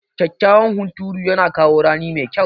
Kyakkyawan hunturu yana kawo rani mai kyau.